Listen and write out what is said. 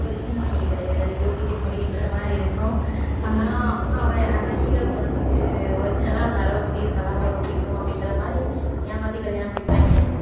original முடி கிடையாது அது duplicate முடின்ற மாதிரி இருக்கும் ஆனா அவன் அந்த hero க்கு வந்து original லா அந்த அளவு முடி இருந்தாதான் பொண்ணு பிடிக்கும் அப்படின்ற மாதிரி ஏமாத்தி கல்யாணம் முடிப்பாங்க